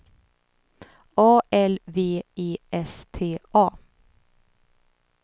A L V E S T A